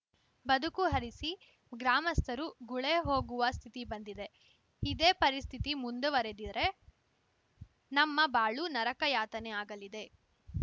ಬದುಕು ಅರಸಿ ಗ್ರಾಮಸ್ಥರು ಗುಳೇ ಹೋಗುವ ಸ್ಥಿತಿ ಬಂದಿದೆ ಇದೇ ಪರಿಸ್ಥಿತಿ ಮುಂದುವರೆದಿರೆ ನಮ್ಮ ಬಾಳು ನರಕಯಾತನೆ ಆಗಲಿದೆ